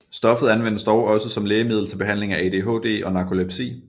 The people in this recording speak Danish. Stoffet anvendes dog også som lægemiddel til behandling af ADHD og narkolepsi